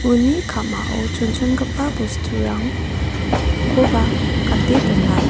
uni ka·mao chonchongipa bosturang koba gate dona.